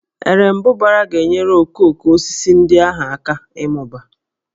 Erembụbara ga-enyere okooko osisi ndị ahụ aka ịmụba